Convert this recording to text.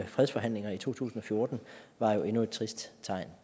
fredsforhandlinger i to tusind og fjorten var jo endnu et trist tegn